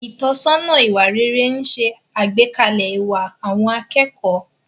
Ìtọ́sọ́nà ìwà rere ń ṣe àgbékalẹ̀ ìwà àwọn akẹ́kọ̀ọ́.